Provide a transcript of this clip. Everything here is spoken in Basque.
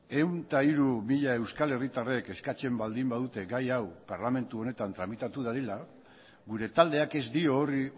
ehun eta hiru mila euskal herritarrek eskatzen baldin badute gai hau parlamentu honetan tramitatu dadila gure taldeak ez dio horri